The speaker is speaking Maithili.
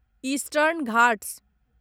इस्टर्न घाट्स